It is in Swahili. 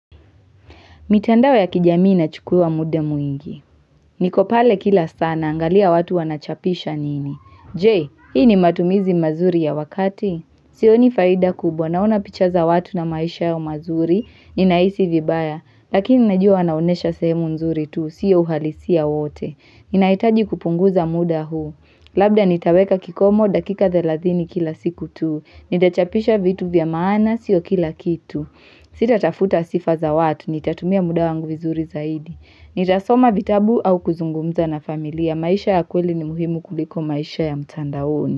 Mitandao ya kijamii inachukua muda mwingi. Niko pale kila saa, naangalia watu wanachapisha nini. J, hii ni matumizi mazuri ya wakati? Sioni faida kubwa, naona picha za watu na maisha yao mazuri, ninahisi vibaya. Lakini najua wanaonesha sehemu nzuri tu, siyo uhalisia wote. Ninaitaji kupunguza muda huu. Labda nitaweka kikomo dakika thelazini kila siku tu. Nitachapisha vitu vya maana, sio kila kitu. Sitatafuta sifa za watu, nitatumia muda wangu vizuri zaidi, nitasoma vitabu au kuzungumza na familia, maisha ya kweli ni muhimu kuliko maisha ya mtandaoni.